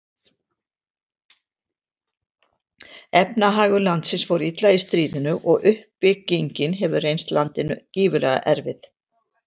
Efnahagur landsins fór illa í stríðinu og uppbyggingin hefur reynst landinu gífurlega erfið.